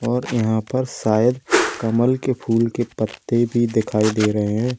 और यहां पर शायद कमल के फूल के पत्ते भी दिखाई दे रहे हैं।